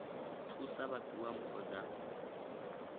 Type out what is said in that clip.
thusa vha fhiwa mpho dza